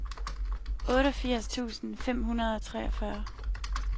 otteogfirs tusind fem hundrede og treogfyrre